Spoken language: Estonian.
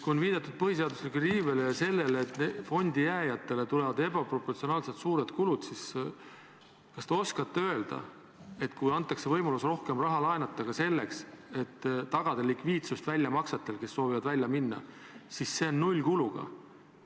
Kui on viidatud põhiseaduslikule riivele ja sellele, et fondi jääjatele tulevad ebaproportsionaalselt suured kulud, siis kas te oskate öelda, et kui antakse võimalus rohkem raha laenata ka selleks, et tagada likviidsust väljamaksetel neile, kes soovivad välja minna, siis see on nullkuluga.